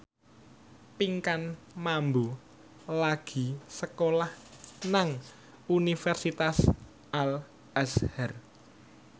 Pinkan Mambo lagi sekolah nang Universitas Al Azhar